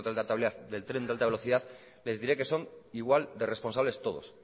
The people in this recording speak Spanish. de del tren de alta velocidad les diré que son igual de responsables todos